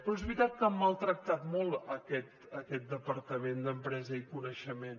però és veritat que han maltractat molt aquest departament d’empresa i coneixement